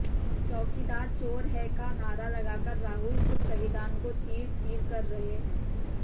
चैकीदार चोर है का नारा लगाकर राहुल खुद संविधान को चीर चीर कर रहे है